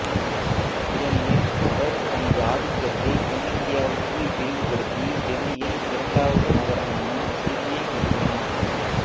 ஏனெனில் அவர் தனது ஆதிக்கத்தை தென்னிந்தியாவுக்கு விரிவுபடுத்தி டெல்லியில் இரண்டாவது நகரமான சிரியை நிறுவினார்